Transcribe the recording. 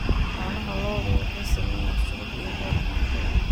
Caanaha lo'du waxay sameeyaan subag iyo farmaajo.